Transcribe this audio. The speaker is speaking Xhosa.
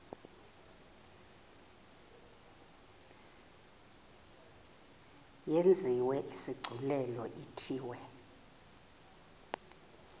yenziwe isigculelo ithiwe